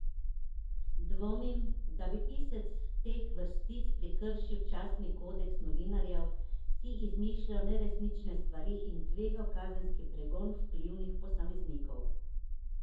Dvomim, da bi pisec teh vrstic prekršil častni kodeks novinarjev, si izmišljal neresnične stvari in tvegal kazenski pregon vplivnih posameznikov.